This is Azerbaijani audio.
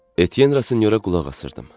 Etyenrasinyora qulaq asırdım.